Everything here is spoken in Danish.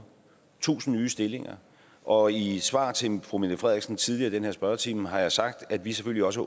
tusind nye stillinger og i et svar til fru mette frederiksen tidligere i den her spørgetime har jeg sagt at vi selvfølgelig også